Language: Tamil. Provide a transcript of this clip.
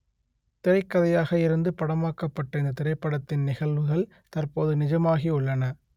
திரைக் கதையாக இருந்து படமாக்கப்பட்ட இந்த திரைப்படத்தின் நிகழ்வுகள் தற்போது நிஜமாகி உள்ளன